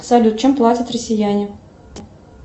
салют чем платят россияне